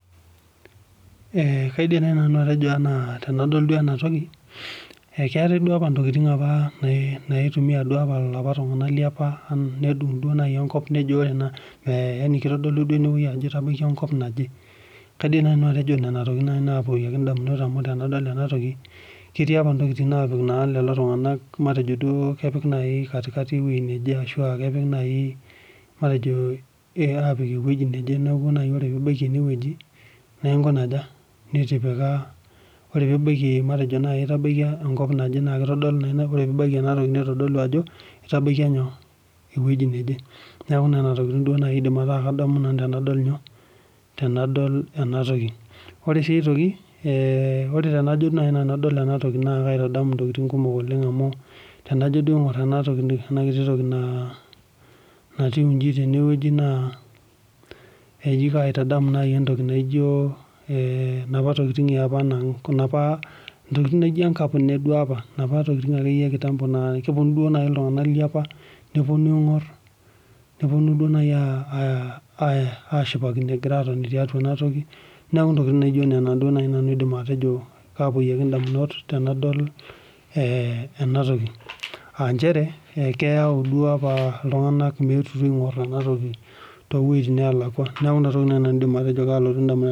Kaidim naaji nanu atejo tenadol ena toki ekitae ntokitin naitumia iltung'ana liapa nedug duo apa enkop kitodolu duo Ajo etabaikia enkop naje kaidim naaji nanu atejo Nena tokitin naapuonu edamunot amu tenadol ena toki ketii apa ntokitin napik lelo tung'ana matejo duo kepiki naji katikati ewueji neje ashua kepejk najii matejo apik ewueji nejee neeku oree pee ebaiki enewueji ore pibaiki enkop naje nitodolu Ajo etabaikia ewueji neje Nena tokitin nanu aidim ataa kadamu tenadol ena toki ore sii aitoki tenajo adol ena toki naa kaitadamu ntokitin kumok oleng amu tenajo aing'or ena toki nayieu eji tenewueji naa kaitadamu naaji entoki naijio napa tokitin yaapa ntokitin naijio enkapune napaa tokitin ee ekitambo naa kepuonu iltung'ana liapa nepuonu aing'or nepuonu najii ashipakino egira atoni tiatua enewueji neeku ntokitin naijio Nena nanu aidim atejo kapuonuki ndamunot tenadol enatoki aa njere keyau iltung'ana duo apa metu aing'or ena toki too wuejitin nelakua neeku enatoki naaji nanu aidim atejo kalotu edamunot